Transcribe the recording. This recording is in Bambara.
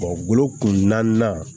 kun na